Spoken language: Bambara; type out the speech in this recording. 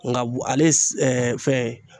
Nka ale fɛn